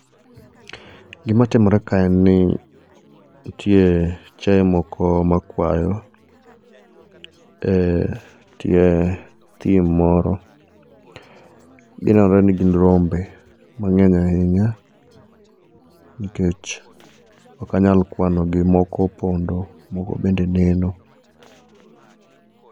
Gimatimore kae en ni nitie chiaye moko makwayo, eh e tie thim moro. Ginenore nigin rombe mang'eny ahinya nikech ok anyal kwanogi nikech moko opondo. Moko bende neno.